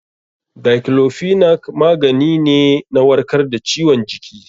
Daiclofenac magani ne na warkar da ciwon jiki.